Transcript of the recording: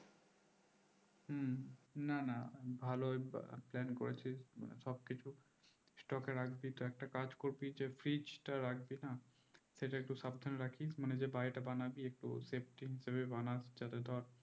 না না ভালো plan করেছি সবকিছু stock এ রাখবি তো একটা কাজ করবি যে fridge টা রাখবি না সেইটা একটু সাবধানে রাখিস মানে যে বাড়িতে বানাবি সেটা একটু safety ঠিক ভাবে বানাস যাতে ধর